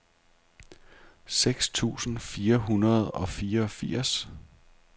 seks tusind fire hundrede og fireogfirs